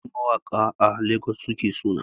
Yawanci mawaƙa a Legas suke suna